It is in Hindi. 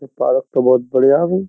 ये पार्क तो बहुत बढ़िया है भाई।